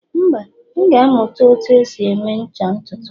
mba, m ga-amụta otú e si eme ncha ntutu